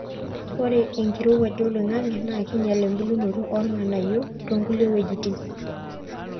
ore enkirowuaj oloingangi naa keinyal embulata oornganayio toonkulie weitin